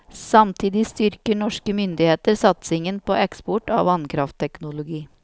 Samtidig styrker norske myndigheter satsingen på eksport av vannkraftteknologi.